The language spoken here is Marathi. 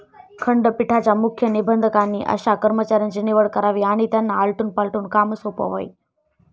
खंडपीठाच्या मुख्य निबंधकांनी अशा कर्मचाऱ्यांची निवड करावी आणि त्यांना आलटून पालटून काम सोपवावे.